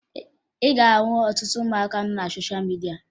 Ị ga-ahụ ọtụtụ ụmụaka nọ na sosha midia